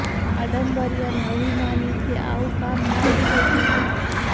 આડંબરી અને અભિમાનીથી આવું કામ ના જ થઇ શકે